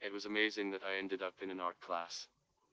разумеется эндокринного класс